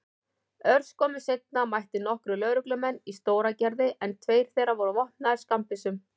Örskömmu seinna mættu nokkrir lögreglumenn í Stóragerði en tveir þeirra voru vopnaðir skammbyssum.